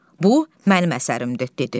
Bu mənim əsərimdir, dedi.